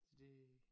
Så det